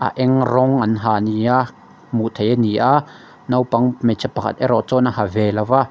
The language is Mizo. a eng rawng an ha nia hmuh theih ani a naupang hmeichhe pakhat erawh chuan a ha ve lo va.